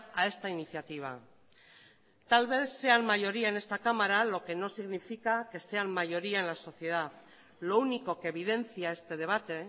a esta iniciativa tal vez sean mayoría en esta cámara lo que no significa que sean mayoría en la sociedad lo único que evidencia este debate